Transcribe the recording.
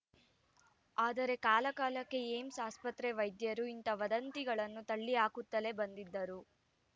ಆದರೆ ಕಾಲ ಕಾಲಕ್ಕೆ ಏಮ್ಸ್ ಆಸ್ಪತ್ರೆ ವೈದ್ಯರು ಇಂಥ ವದಂತಿಗಳನ್ನು ತಳ್ಳಿಹಾಕುತ್ತಲೇ ಬಂದಿದ್ದರು